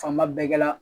Fanba bɛɛ kɛla